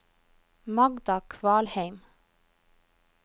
Magda Kvalheim